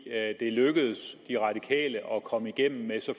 er lykkedes de radikale at komme igennem med så